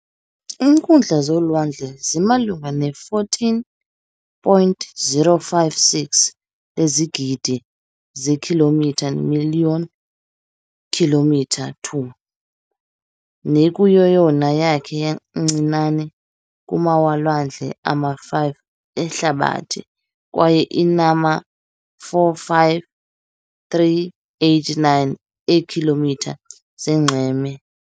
Iinkundla zolwandle zimalunga ne14.056 lezigidi zeekhilomitha million km 2, nekuyeyona yakhe yancinane kumalwandle ama-5 ehlabathi, kwaye inama-45389 eekm zonxweme.